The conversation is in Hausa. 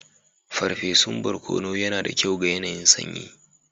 Farfesun barkono yana da kyau ga yanayin sanyi.